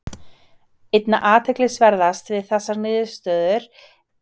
Einna athyglisverðast við þessa niðurstöðu er hversu erfitt reynist að sanna hana.